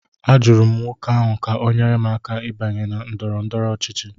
Ajụrụ m nwoke ahụ ka ọ nyere m aka ịbanye na ndọrọ ndọrọ ọchịchị